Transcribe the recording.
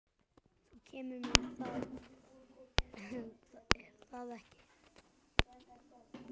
Þú kemur með, er það ekki?